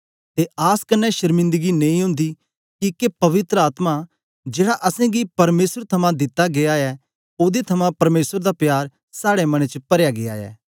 ते आस कन्ने शर्मिंदगी नेई ओंदी किके पवित्र आत्मा जेड़ा असेंगी परमेसर थमां दिता गीया ऐ ओदे थमां परमेसर दा प्यार साड़े मनें च परया गीया ऐ